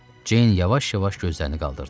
Jane yavaş-yavaş gözlərini qaldırdı.